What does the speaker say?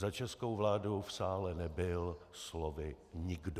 Za českou vládu v sále nebyl slovy nikdo.